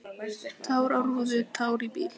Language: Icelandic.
Tár á rúðu, tár í bíl.